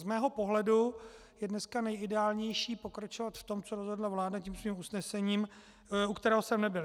Z mého pohledu je dneska nejideálnější pokračovat v tom, co rozhodla vláda tím svým usnesením, u kterého jsem nebyl.